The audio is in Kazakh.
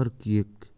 қыркүйек